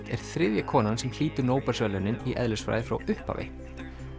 er þriðja konan sem hlýtur Nóbelsverðlaunin í eðlisfræði frá upphafi